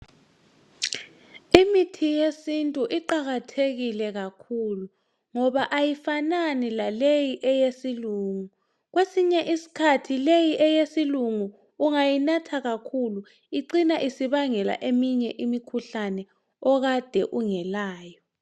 Imithi yesintu iqakathekile kakhulu, ngoba ayifanani lale eyesilungu. Kwesinye usikhathi le eyesilungu ungayinatha kakhulu. Icina ibangela eminye imikhuhlane, okade ungalayo.